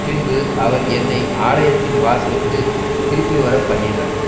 பின்பு அவர் என்னை ஆலயத்தின் வாசலுக்குத் திருப்பி வரப்பண்ணினார்